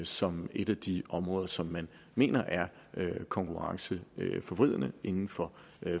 som et af de områder som man mener er konkurrenceforvridende inden for